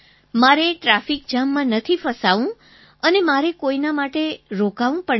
મારે ટ્રાફિક જામમાં નથી ફસાવું અને મારે કોઈના માટે રોકાવું પણ નથી